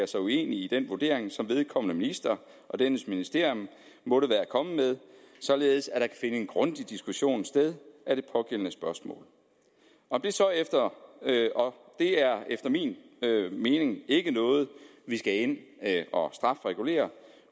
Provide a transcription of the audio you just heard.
sig uenig i den vurdering som vedkommende minister og dennes ministerium måtte være kommet med således at der kan en grundig diskussion sted af det pågældende spørgsmål og det er efter min mening ikke noget vi skal ind at strafregulere